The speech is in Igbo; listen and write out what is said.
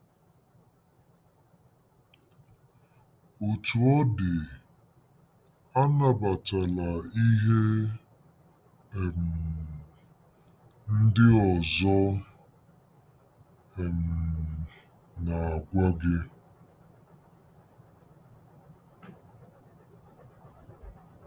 Otú ọ dị, anabatala ihe um ndị ọzọ um na-agwa gị.